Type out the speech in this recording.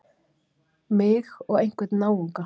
Mig og einhvern náunga.